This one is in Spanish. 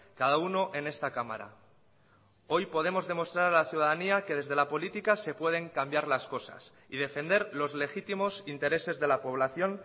cada uno en esta cámara hoy podemos demostrar a la ciudadanía que desde la política se pueden cambiar las cosas y defender los legítimos intereses de la población